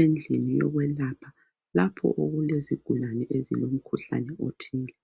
endlini yokwelapha lapho okulezigulane ezilomkhuhlane othile.